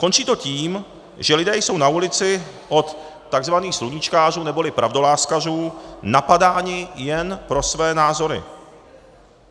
Končí to tím, že lidé jsou na ulici od tzv. sluníčkářů neboli pravdoláskařů napadáni jen pro své názory.